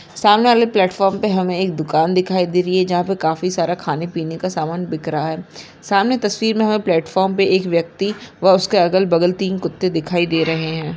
सामनेवाले platform पे हमे एक दूकान दिखाई दे रही है जहा पे काफी सारा खाने पीना का सामान दिख रहा है सामने तस्वीर में हमें फ्लॅटफॉर्म पे एक व्यक्ति व उसके अगल बगल तीन कुत्ते दिखाई दे रहे है।